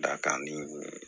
Dakan di